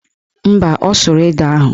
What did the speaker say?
Mba, ọ sụrụ ede ahụ